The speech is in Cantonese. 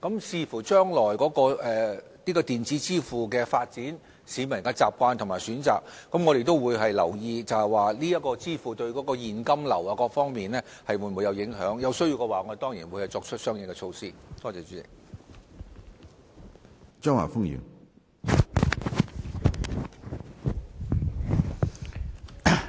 視乎將來電子支付的發展、市民的習慣和選擇，我們會留意這種支付方式對現金流等各方面的影響；如有需要，我們當然會採取相應措施。